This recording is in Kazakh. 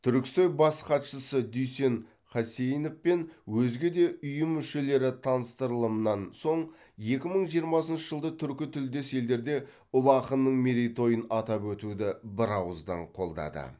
түрксой бас хатшысы дүйсен қасейінов пен өзге де ұйым мүшелері таныстырылымнан соң екі мың жиырмасыншы жылды түркі тілдес елдерде ұлы ақынның мерейтойын атап өтуді бір ауыздан қолдады